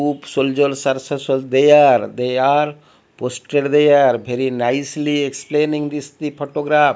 soilders are there they are posted there very nicely explaining this the photograph.